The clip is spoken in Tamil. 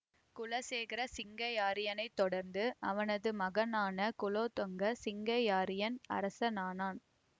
குலசேகர சிங்கையாரியனைத் தொடர்ந்து அவனது மகனான குலோத்துங்க சிங்கையாரியன் அரசனானான்